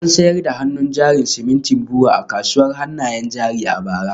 An sayar da hannun jarin simintin BUA a kasuwar hannayen jari a bara